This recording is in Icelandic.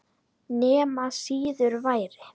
Nema síður væri.